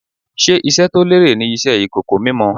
Ṣé iṣẹ́ to lérè ni Iṣẹ́ ìkòkò mímọ?